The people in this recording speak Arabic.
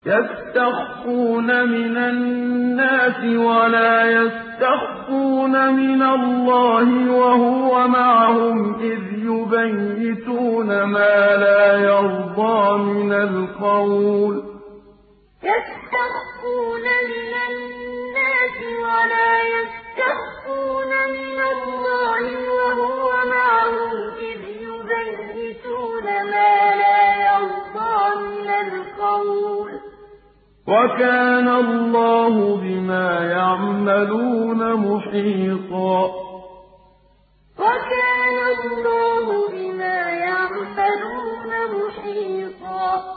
يَسْتَخْفُونَ مِنَ النَّاسِ وَلَا يَسْتَخْفُونَ مِنَ اللَّهِ وَهُوَ مَعَهُمْ إِذْ يُبَيِّتُونَ مَا لَا يَرْضَىٰ مِنَ الْقَوْلِ ۚ وَكَانَ اللَّهُ بِمَا يَعْمَلُونَ مُحِيطًا يَسْتَخْفُونَ مِنَ النَّاسِ وَلَا يَسْتَخْفُونَ مِنَ اللَّهِ وَهُوَ مَعَهُمْ إِذْ يُبَيِّتُونَ مَا لَا يَرْضَىٰ مِنَ الْقَوْلِ ۚ وَكَانَ اللَّهُ بِمَا يَعْمَلُونَ مُحِيطًا